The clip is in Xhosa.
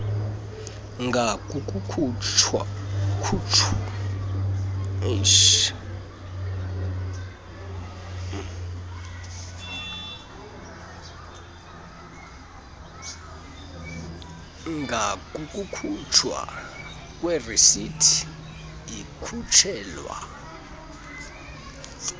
ngakukukhutshwa kwerisithi ikhutshelwa